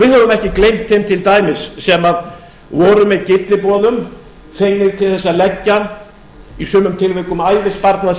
við höfum ekki gleymt þeim til dæmis sem voru með gylliboðum fengnir til þess að leggja í sumum tilvikum ævisparnað